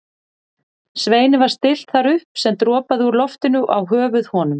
Sveini var stillt þar upp sem dropaði úr loftinu og á höfuð honum.